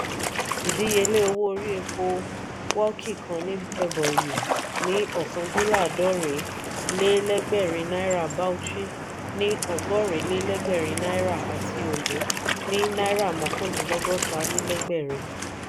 ìdíyelé owó orí epo wọłki ní ebonyi ní ọkàn-din-laadorin-le-legberin náírà bauchi ni ọgọrin-le-legberin náírà àti ondo ní náírà mokan-din-logota-le-legberin